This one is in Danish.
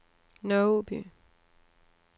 Nørre Åby